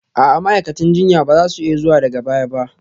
A'a, ma'aikatan jinya ba za su iya zuwa daga baya ba